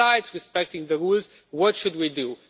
Besides respecting the rules, what should we do?